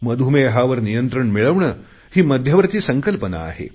मधुमेहावर नियंत्रण मिळवणे ही मध्यवर्ती संकल्पना आहे